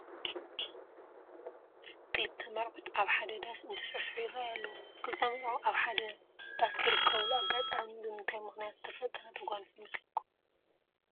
ክልተ መርዑት ኣብ ሓደ ዳስ እንትስዕስዑ ይርአዩ ኣለዉ፡፡ ክልተ መርዑ ኣብ ሓደ ዳስ ዝርከብሉ ኣጋጣሚ ብምንታይ ምኽንያት ዝተፈጠረ ተጓንፎ ይመስለኩም?